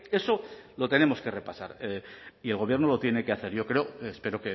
eso lo tenemos que repasar y el gobierno lo tiene que hacer yo espero